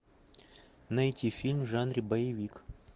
найти фильм в жанре боевик